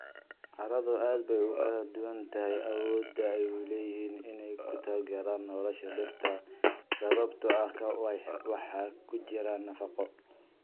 Carradu aad bay ugu kala duwan tahay awoodda ay u leeyihiin inay ku taageeraan nolosha dhirta sababtoo ah waxa ku jira nafaqo.